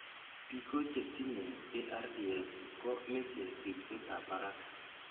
Biko chetinye ARDS ko meche ribsetab barak.